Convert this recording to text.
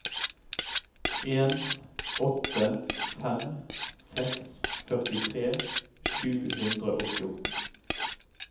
en åtte fem seks førtitre sju hundre og fjorten